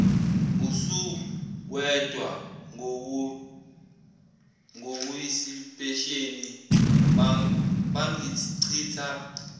usuwedwa ngokuyisipesheni bangichitha